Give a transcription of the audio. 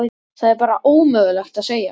Það er bara ómögulegt að segja.